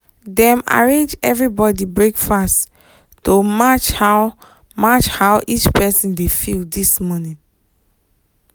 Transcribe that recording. dem arrange everybody breakfast to match how match how each person dey feel this morning.